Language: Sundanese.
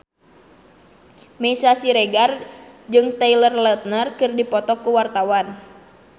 Meisya Siregar jeung Taylor Lautner keur dipoto ku wartawan